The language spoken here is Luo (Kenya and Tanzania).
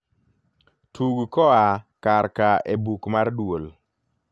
tug koa kar ka e buk mar duol